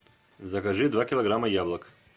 закажи два килограмма яблок